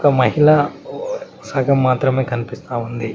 ఒక మహిళా సగం మాత్రమే కనిపిసస్తా ఉంది.